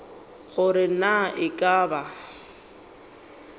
gore na e ka ba